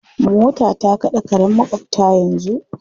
Mota ta kaɗe karen maƙwabta yanzu.